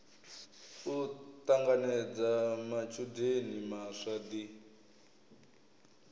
u ṱanganedza matshudeni maswa ḓi